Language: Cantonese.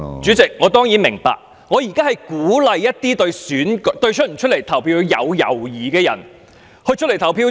主席，我當然明白，我現在是鼓勵一些對投票有猶豫的人出來投票。